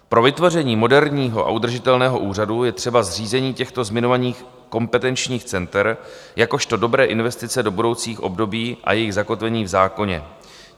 Pro vytvoření moderního a udržitelného úřadu je třeba zřízení těchto zmiňovaných kompetenčních center jakožto dobré investice do budoucích období a jejich zakotvení v zákoně.